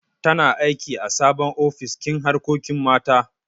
Tana aiki ã sabon ofis kin harkokin mata.